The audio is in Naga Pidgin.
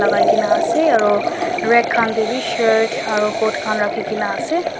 lakai kena ase aro rag khan tae bi shirt aro coat khan rakhikae na ase.